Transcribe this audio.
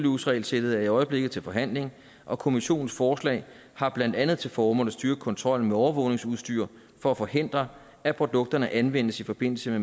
use regelsættet er i øjeblikket til forhandling og kommissionens forslag har blandt andet til formål at styrke kontrollen med overvågningsudstyr for at forhindre at produkterne anvendes i forbindelse